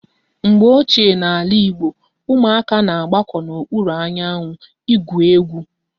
Mgbe ochie n'ala Igbo, ụmụaka na-agbako n'okpuru anyanwụ ị gwụ egwu